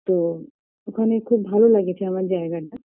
তো ওখানে খুব ভালো লাগেছে আমার জায়গাটা